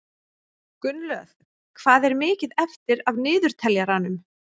Gunnlöð, hvað er mikið eftir af niðurteljaranum?